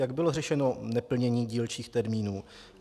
Jak bylo řešeno neplnění dílčích termínů?